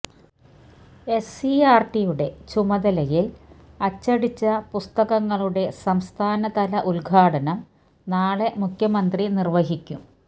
എസ്സിഇആര്ടിയുടെ ചുമതലയില് അച്ചടിച്ച പുസ്തകങ്ങളുടെ സംസ്ഥാനതല ഉദ്ഘാടനം നാളെ മുഖ്യമന്ത്രി നിര്വഹിക്കും